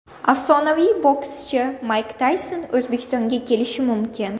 Afsonaviy bokschi Mayk Tayson O‘zbekistonga kelishi mumkin.